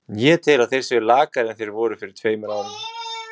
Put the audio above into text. Ég tel að þeir séu lakari en þeir voru fyrir tveimur árum.